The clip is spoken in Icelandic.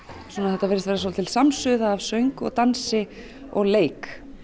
þetta virðist vera svolítil samsuða af söng dansi og leik